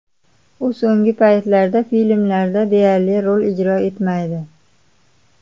U so‘nggi paytlarda filmlarda deyarli rol ijro etmaydi.